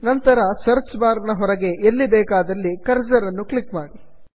ನಂತರ search bar ನ ಹೊರಗೆ ಎಲ್ಲಿ ಬೇಕಾದಲ್ಲಿ ಕರ್ಸರ್ ಅನ್ನು ಕ್ಲಿಕ್ ಮಾಡಿ